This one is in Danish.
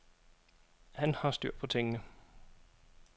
Han har styr på tingene.